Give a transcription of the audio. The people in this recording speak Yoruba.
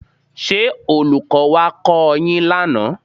Ṣé Olùkọ́ wá kọ́ ọ yín lánàá?